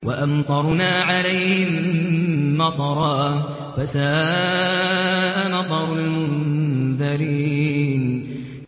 وَأَمْطَرْنَا عَلَيْهِم مَّطَرًا ۖ فَسَاءَ مَطَرُ الْمُنذَرِينَ